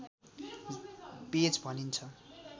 page भनिन्छ